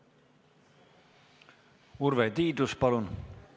Urve Tiidus, palun!